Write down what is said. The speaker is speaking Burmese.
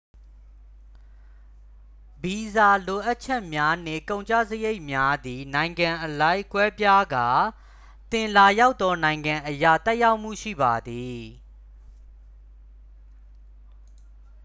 ဗီဇာလိုအပ်ချက်များနှင့် ကုန်ကျစရိတ်များသည် နိုင်ငံအလိုက် ကွဲပြားကာ သင်လာရောက်သောနိုင်ငံအရ သက်ရောက်မှုရှိပါသည်